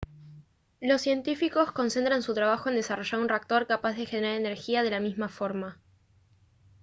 los científicos concentran su trabajo en desarrollar un reactor capaz de generar energía de la misma forma